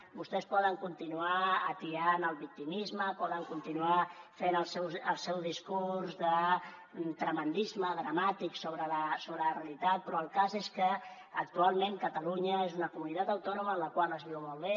vostès poden continuar atiant el victimisme poden continuar fent el seu discurs de tremendisme dramàtic sobre la realitat però el cas és que actualment catalunya és una comunitat autònoma en la qual es viu molt bé